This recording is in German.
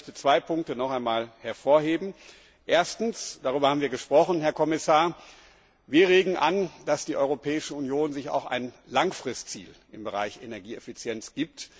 Aber ich möchte noch einmal zwei Punkte hervorheben Erstens darüber haben wir gesprochen, Herr Kommissar regen wir an, dass die Europäische Union sich ein Langfristziel im Bereich Energieeffizienz setzt.